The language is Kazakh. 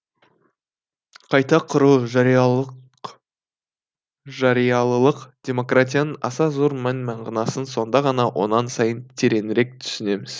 қайта құру жариялылық демократияның аса зор мән мағынасын сонда ғана онан сайын тереңірек түсінеміз